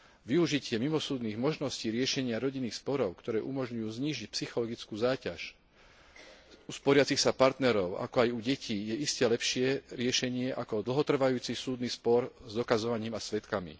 Využitie mimosúdnych možností riešenia rodinných sporov, ktoré umožňujú znížiť psychologickú záťaž u sporiacich sa partnerov, ako aj u detí, je iste lepšie riešenie ako dlhotrvajúci spor s dokazovaním a svedkami.